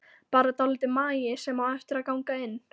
Bara dálítill magi sem á eftir að ganga inn.